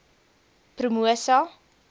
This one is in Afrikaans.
promosa